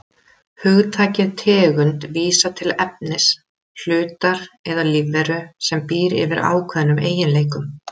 Hugtakið tegund vísar til efnis, hlutar eða lífveru sem býr yfir ákveðnum eiginleikum.